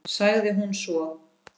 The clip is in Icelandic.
sagði hún svo.